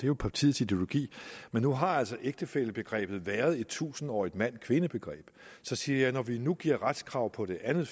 jo partiets ideologi men nu har ægtefællebegrebet altså været et tusindårigt mand kvinde begreb så siger jeg når vi nu giver retskrav på det andet